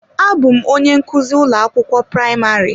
Abụ m onye nkuzi ụlọ akwụkwọ praịmarị.